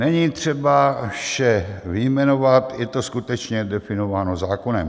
Není třeba vše vyjmenovat, je to skutečně definováno zákonem.